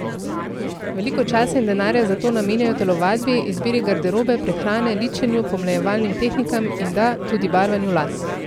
Veliko časa in denarja zato namenjajo telovadbi, izbiri garderobe, prehrani, ličenju, pomlajevalnim tehnikam in da, tudi barvanju las.